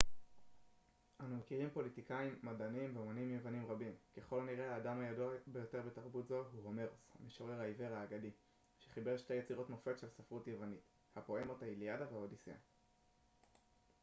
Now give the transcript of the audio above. אנו מכירים פוליטיקאים מדענים ואמנים יוונים רבים ככל הנראה האדם הידוע ביותר בתרבות זו הוא הומרוס המשורר העיוור האגדי שחיבר שתי יצירות מופת של ספרות יוונית הפואמות האיליאדה והאודיסיאה